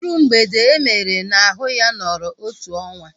Iru mgbede emere n'ahu ya nọrọ otu ọnwa